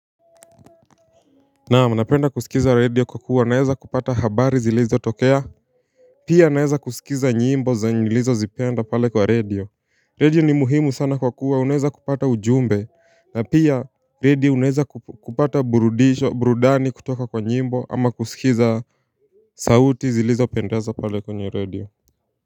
Naamu napenda kusikiza radio kwa kuwa naeza kupata habari zilizotokea Pia naeza kusikiza nyimbo zenye nilizozipenda pale kwa radio Radio ni muhimu sana kwa kuwa unaeza kupata ujumbe na pia radio unaeza kupata burudani kutoka kwa nyimbo ama kusikiza sauti zilizopendeza pale kwenye radio.